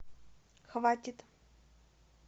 хватит